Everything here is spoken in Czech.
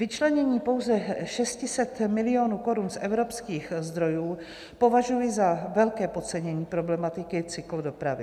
Vyčlenění pouze 600 milionů korun z evropských zdrojů považuji za velké podcenění problematiky cyklodopravy.